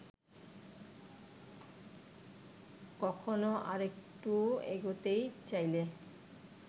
কখনো আরেকটু এগোতে চাইলে